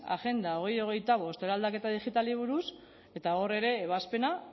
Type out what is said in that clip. agenda bi mila hogeita bost eraldaketa digitalei buruz eta hor ere ebazpena